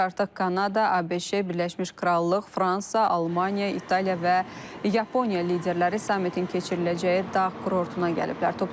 Artıq Kanada, ABŞ, Birləşmiş Krallıq, Fransa, Almaniya, İtaliya və Yaponiya liderləri sammitin keçiriləcəyi dağ kurortuna gəliblər.